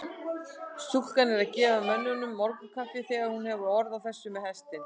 Stúlkan er að gefa mönnunum morgunkaffið þegar hún hefur orð á þessu með hestinn.